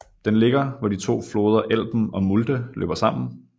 Den ligger hvor de to floder Elben og Mulde løber sammen